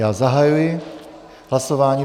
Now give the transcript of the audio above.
Já zahajuji hlasování.